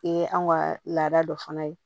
Ee an ka laada dɔ fana ye